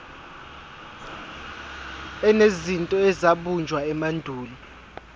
enezinto ezabunjwa emandulo